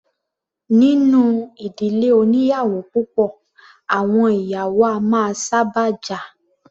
Nínú ìdílé oní ìyàwó púpọ̀, àwọn ìyàwó a máa sábà jà.